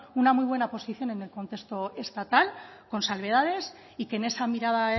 una muy buena posición en el contexto estatal con salvedades y que en esa mirada